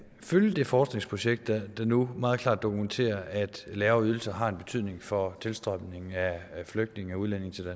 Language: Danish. følge det forskningsprojekt der nu meget klart dokumenterer at lavere ydelser har en betydning for tilstrømningen af flygtninge og udlændinge til